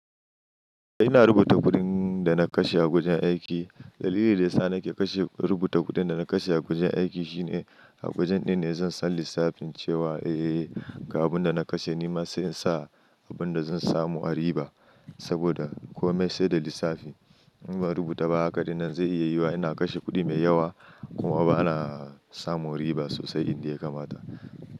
Ina rubuta kuɗin da na kashe a wajen aiki. Dalili da ya sa nake rubuta kuɗin da na kashe a wajen aiki shine a wajen ɗin ne zan san lissafin cewa, eh, ga abin da na kashe nima sai in sa abin da zan samu a riba. Saboda kome sai da lissafi. In ba rubuta ba, haka dai nan zai iya yiwuwa ina kashe kuɗi mai yawa kuma ba na samu riba sosai inda ya kamata.